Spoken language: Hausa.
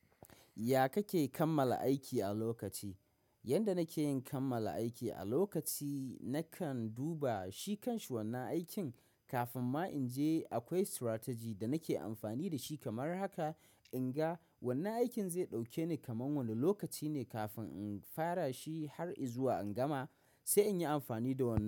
Ya kake kammala aiki a lokaci? Yanda nake yin kammala aiki a lokaci nakan duba shi kanshi wannan aikin kafin ma in je akwai stratagi da nake amfani da shi kamar haka in ga wannan aikin zai ɗauke ni kamar wani lokaci ne kafin in fara shi har inzuwa in gama sai in yi amfani da wannan.